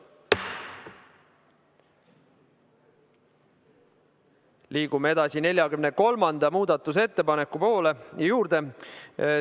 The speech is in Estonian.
Liigume edasi 43. muudatusettepaneku juurde.